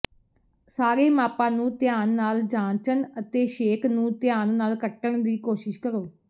ਸਾਰੇ ਮਾਪਾਂ ਨੂੰ ਧਿਆਨ ਨਾਲ ਜਾਂਚਣ ਅਤੇ ਛੇਕ ਨੂੰ ਧਿਆਨ ਨਾਲ ਕੱਟਣ ਦੀ ਕੋਸ਼ਿਸ਼ ਕਰੋ